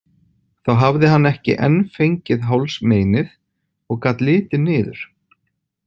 Þá hafði hann ekki enn fengið hálsmeinið og gat litið niður.